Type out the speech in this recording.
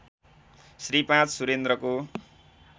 Shri ५ सुरेन्द्रको